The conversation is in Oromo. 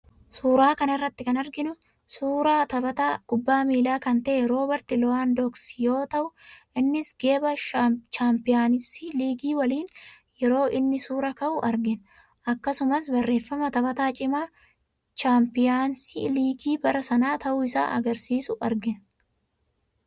Suuraa kana irratti kan arginu suuraa taphataa kubbaa miilaa kan ta'e Roobert Lowaandoksii yoo ta'u, innis geeba 'chaampiyansi liigii' waliin yeroo inni suuraa ka'u arginu. Akkasumas, barreeffama taphataa cimaa 'chaampiyansi liigii' bara sanaa ta'uu isaa agarsiisu argina.